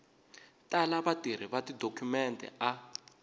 tala vatirhi va tidokhumente a